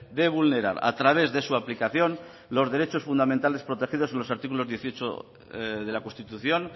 de vulnerar a través de su aplicación los derechos fundamentales protegidos en los artículos dieciocho de la constitución